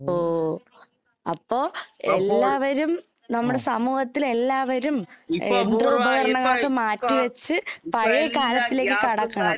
ഓ അപ്പോ എല്ലാവരും നമ്മുടെ സമൂഹത്തിൽ എല്ലാവരും എഹ് യന്ത്ര ഉപകരണങ്ങളൊക്കെ മാറ്റി വെച്ച് പഴയ കാലത്തിലേക്ക് കടക്കണം.